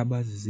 Abazi-9